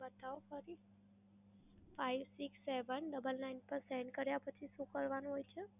બતાવો ફરી? five six seven fouble nine પર send કર્યા પછી શું કરવાનું હોય છે?